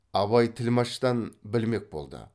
абай тілмаштан білмек болды